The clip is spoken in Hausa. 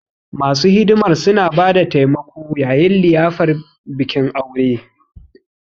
Masu hidimar suna ba da taimako yayin liyafar bikin aure.